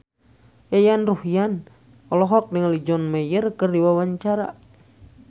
Yayan Ruhlan olohok ningali John Mayer keur diwawancara